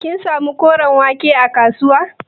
Kin samu koren wake a kasuwa?